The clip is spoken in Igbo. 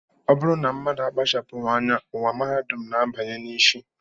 Ọ bụrụ na mmadụ akpachapụghị anya, ụwa mahadum na-abanye ha isi